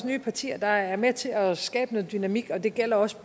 nye partier der er med til at skabe noget dynamik og det gælder også